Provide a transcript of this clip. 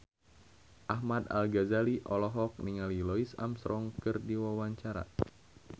Ahmad Al-Ghazali olohok ningali Louis Armstrong keur diwawancara